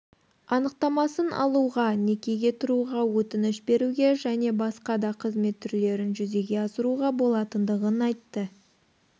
анықтамасын алуға некеге тұруға өтініш беруге және басқа да қызмет түрлерін жүзеге асыруға болатындығын айтты